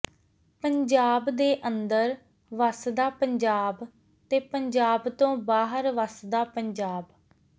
ਪੰਜਾਬ ਦੇ ਅੰਦਰ ਵਸਦਾ ਪੰਜਾਬ ਤੇ ਪੰਜਾਬ ਤੋਂ ਬਾਹਰ ਵੱਸਦਾ ਪੰਜਾਬ